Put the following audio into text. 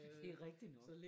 Det er rigtig nok